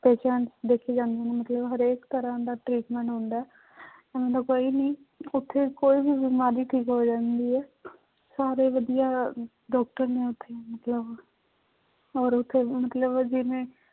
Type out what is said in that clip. Patient ਦੇਖੇ ਜਾਂਦੇ ਨੇ ਮਤਲਬ ਹਰੇਕ ਤਰ੍ਹਾਂ ਦਾ treatment ਹੁੰਦਾ ਹੈ ਕੋਈ ਵੀ ਉੱਥੇ ਕੋਈ ਵੀ ਬਿਮਾਰੀ ਠੀਕ ਹੋ ਜਾਂਦੀ ਹੈ ਸਾਰੇ ਵਧੀਆ doctor ਨੇ ਉੱਥੇ ਮਤਲਬ ਔਰ ਉੱਥੇ ਮਤਲਬ ਜਿਵੇਂ